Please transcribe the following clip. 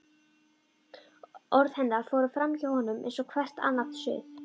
Orð hennar fóru framhjá honum eins og hvert annað suð.